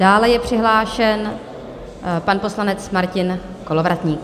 Dále je přihlášen pan poslanec Martin Kolovratník.